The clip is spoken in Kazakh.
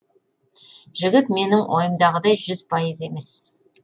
жігіт менің ойымдағыдай жүз пайыз емес